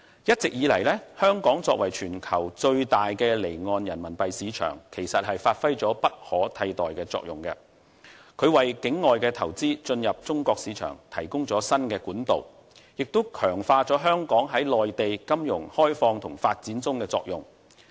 一直以來，香港作為全球最大的離岸人民幣市場，其實發揮了不可替代的作用，為境外投資進入中國市場提供了新管道，亦強化了香港在內地金融開放和發展中的作用。